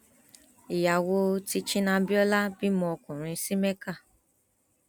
ìyàwó teaching abiola bímọ ọkùnrin sí mecca